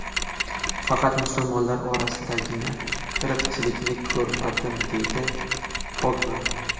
Faqat musulmonlar orasidagina irqchilikni ko‘rmadim”, deydi Pogba.